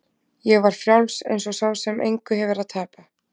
Ég var frjáls eins og sá sem engu hefur að tapa.